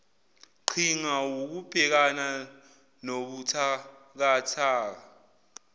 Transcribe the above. qhinga wukubhekana nobuthakathaka